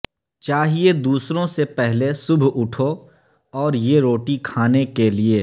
چاہئے دوسروں سے پہلے صبح اٹھو اور یہ روٹی کھانے کے لئے